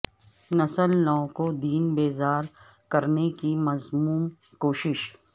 نسل نو کو دین بیزار کرنے کی مذموم کوشش